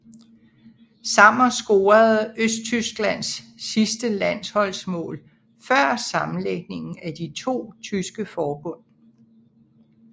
Sammer scorede Østtysklands sidste landsholdsmål før sammenlægningen af de to tyske forbund